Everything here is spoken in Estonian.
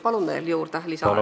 Palun veel aega juurde!